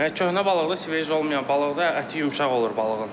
Yəni köhnə balıqdır, sveji olmayan balıqdır, əti yumşaq olur balığın.